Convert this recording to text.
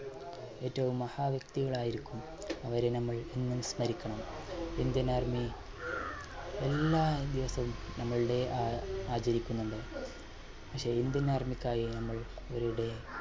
ഏറ്റവും മഹാ വ്യക്തികൾ ആയിരിക്കും അവരെ നമ്മൾ എന്നും സ്മരിക്കണം. indian army എല്ലാ ദിവസവും നമ്മളുടെ ആആചരിക്കുന്നുണ്ട് പക്ഷേ indian army ക്കായി നമ്മൾ ഒരു day